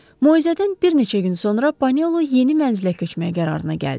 Moizədən bir neçə gün sonra Panelo yeni mənzilə köçməyə qərarına gəldi.